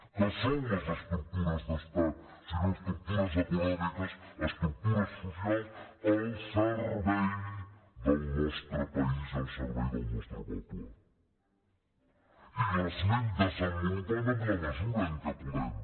què són les estructures d’estat sinó estructures econòmiques estructures socials al servei del nostre país i al servei del nostre poble i les anem desenvo·lupant en la mesura en què podem